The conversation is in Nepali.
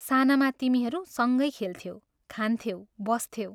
सानामा तिमीहरू सँगै खेल्थ्यौ, खान्थ्यौ, बस्थ्यौ।